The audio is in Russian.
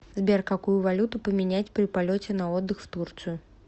сбер какую валюту поменять при полете на отдых в турцию